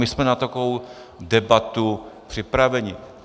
My jsme na takovou debatu připraveni.